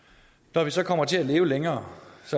når vi så kommer til at leve længere